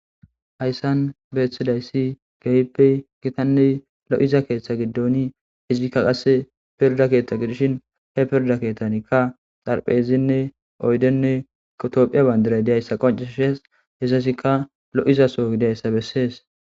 Hayssan beettidayssi keehippe gitanne lo'iza keeththa giddoni izikka qasse pirda keeththa gidishin he pirda keeththanikka xaraphezinne oydenne Tophphiya bandiray diyayssa qoncisesz. Hessikka lo'iza so gidyayssa bessees.